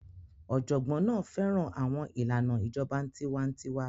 Ọ̀jọ̀gbọ́n náà fẹ́ràn àwọn ìlànà ìjọba tiwa-n-tiwa.